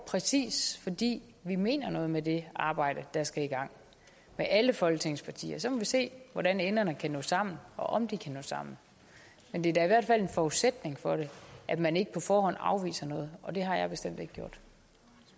præcis fordi vi mener noget med det arbejde der skal i gang med alle folketingets partier så må vi se hvordan enderne kan nå sammen og om de kan nå sammen det er da i hvert fald en forudsætning for det at man ikke på forhånd afviser noget